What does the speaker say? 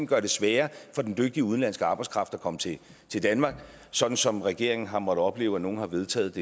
gør det sværere for den dygtige udenlandske arbejdskraft at komme til til danmark sådan som regeringen har måttet opleve at nogle har vedtaget